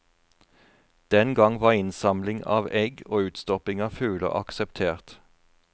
Den gang var innsamling av egg og utstopping av fugler akseptert.